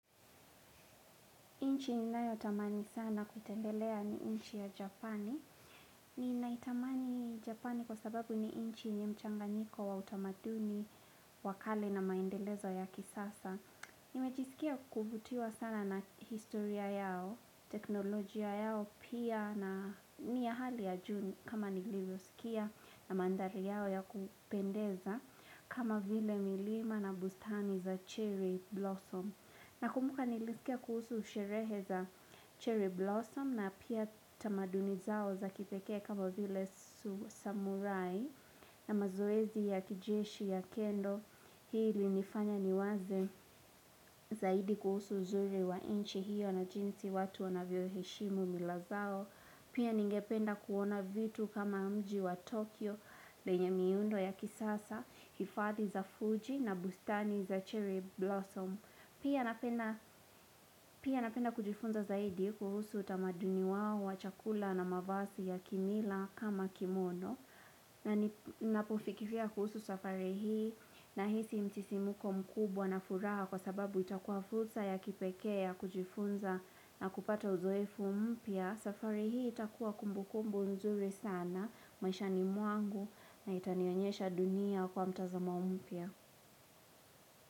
Nchi ninayo tamani sana kutembelea ni nchi ya japani. Ninaitamani japani kwa sababu ni nchi yenye mchanganyiko wa utamaduni wa kale na maendelezo ya kisasa. Nimejisikia kuvutiwa sana na historia yao, teknolojia yao pia na ni ya hali ya juu ni kama nilivyo sikia na mandhari yao ya kupendeza kama vile milima na bustani za cherry blossom. Nakumbuka nilisikia kuhusu sherehe za cherry blossom na pia tamaduni zao za kipekee kama vile samurai na mazoezi ya kijeshi ya kendo. Hii ilinifanya niwaze zaidi kuhusu uzuri wa nchi hiyo na jinsi watu wanavyo heshimu mila zao. Pia ningependa kuona vitu kama mji wa Tokyo lenye miundo ya kisasa, hifadhi za Fuji na bustani za cherry blossom. Pia napenda kujifunza zaidi kuhusu utamaduni wao, wa chakula na mavazi ya kimila kama kimono. Na nipofikiria kuhusu safari hii nahisi msisimuko mkubwa na furaha kwa sababu itakuwa fursa ya kipekee ya kujifunza na kupata uzoefu mpya. Safari hii itakuwa kumbukumbu nzuri sana, maishani mwangu na itanionyesha dunia kwa mtazamo mpya.